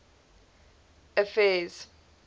affairs